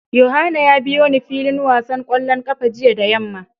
Yohana ya biyo ni filin wasan kwallon kafa jiya da yamma.